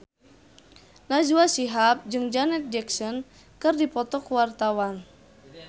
Najwa Shihab jeung Janet Jackson keur dipoto ku wartawan